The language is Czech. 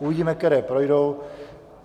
Uvidíme, které projdou.